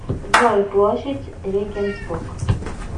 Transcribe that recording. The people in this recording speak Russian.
джой площадь регенсбург